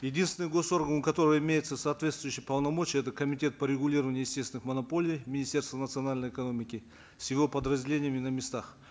единственный госорган у которого имеются соответствующие полномочия это комитет по регулированию естественных монополий министерства национальной экономики с его подразделениями на местах